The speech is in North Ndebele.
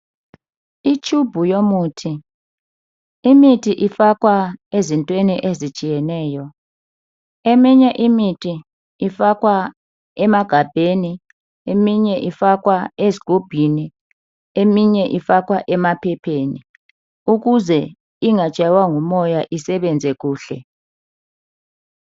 Itshubhu yomuthi. Imithi ifakwa ezintweni ezitshiyeneyo. Eminye imithi ifakwa emagabheni, eminye ifakwa ezgubhini, eminye ifakwa emaphepheni ukuze ingatshaywa ngumoya, isebenze kuhle.